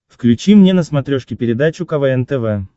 включи мне на смотрешке передачу квн тв